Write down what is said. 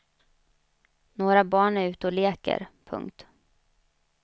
Några barn är ute och leker. punkt